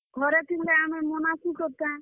ଘରେ ଥିଲେ ଆମେ ମନାସୁଁ ତୋର୍ ଟା।